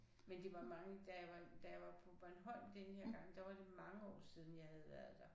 Men det var mange da jeg var da jeg var på Bornholm denne her gang der var det mange år siden jeg havde været der